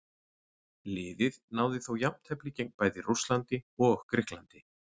Liðið náði þó jafntefli gegn bæði Rússlandi og Grikklandi.